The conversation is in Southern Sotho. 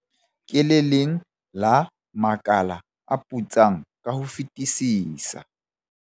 Ke le leng la makala a putsang ka ho fetisisa.